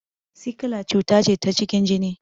Sikila cuta ce ta cikin jini